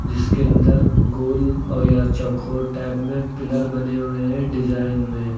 जिसके अंदर गोल और या चौकोर टाइप में पिलर बने हुए हैं डिजाइन में।